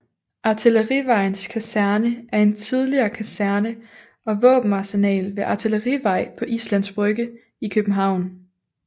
Artillerivejens Kaserne er en tidligere kaserne og våbenarsenal ved Artillerivej på Islands Brygge i København